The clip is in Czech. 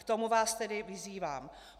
K tomu vás tedy vyzývám.